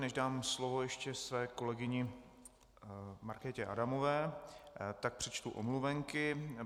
Než dám slovo ještě své kolegyni Markétě Adamové, tak přečtu omluveny.